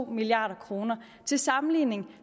milliard kroner til sammenligning